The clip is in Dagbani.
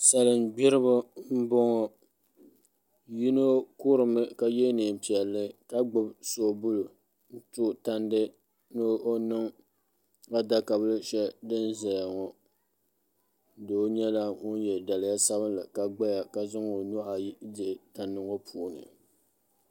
Salin gbiribi n boŋɔ yino kurimi ka yɛ neen piɛlli ka gbubi soobuli n tooi tandi ni o niŋ adaka bili shɛli din ʒɛya ŋo ni doo nyɛla ŋun yɛ daliya sabinli ka gbaya ka zaŋ o nuhu ayi dihi tandi ŋo puuni